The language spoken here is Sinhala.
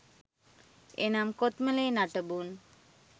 එනම් කොත්මලේ නටබුන්